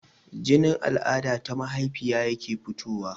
Jinin al'ada ta mahaifa yake fitowa